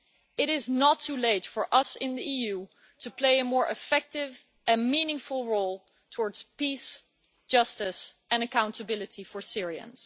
It is not too late for us in the EU to play a more effective and meaningful role towards peace, justice and accountability for Syrians.